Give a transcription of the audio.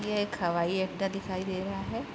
ये एक हवाई अड्डा दिखाई दे रहा है।